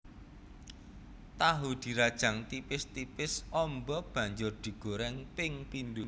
Tahu dirajang tipis tipis amba banjur digoreng ping pindho